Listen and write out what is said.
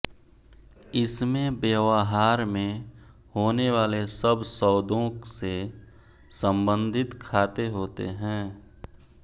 इसमें वयवहार में होने वाले सब सौदों से सम्बन्धित खाते होते हैं